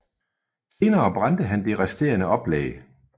Senere brændte han det resterende oplag